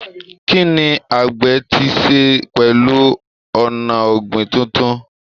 Kí ni àgbẹ̀ ti ṣe pẹ̀lú ọ̀nà ọ̀gbìn tuntun?